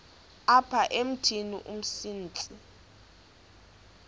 apha emithini umsintsi